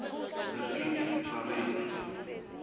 the pink parade